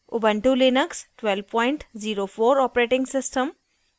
* ubuntu Linux 1204 operating system